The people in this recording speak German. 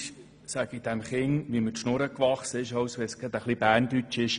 Manchmal rede ich so, wie mir der Schnabel gewachsen ist, auch wenn es zuweilen etwas salopp ist.